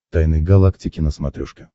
тайны галактики на смотрешке